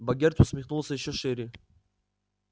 богерт усмехнулся ещё шире